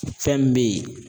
Fɛn min bɛ ye